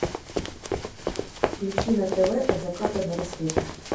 включи на тв от заката до рассвета